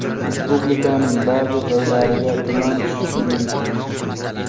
Respublikaning ba’zi joylariga tuman tushishi mumkin.